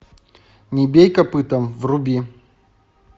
не бей копытом вруби